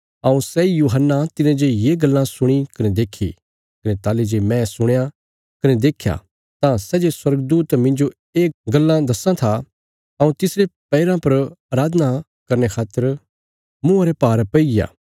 हऊँ सैई यूहन्ना तिने जे ये गल्लां सुणी कने देक्खी कने ताहली जे मैं सुणया कने देख्या तां सै जे स्वर्गदूत मिन्जो ये गल्लां दिखां था हऊँ तिसरे पैरा पर अराधना करने खातर मुँआं रे भार पैईग्या